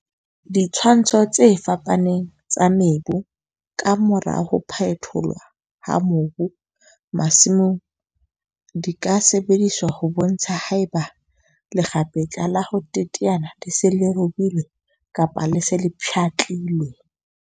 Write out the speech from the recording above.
Ditshwantsho tse fapaneng tsa mebu ka mora ho phetholwa ha mobu masimong di ka sebediswa ho bontsha haeba lekgapetla la ho teteana le se le robilwe kapa le se le pshatlilwe.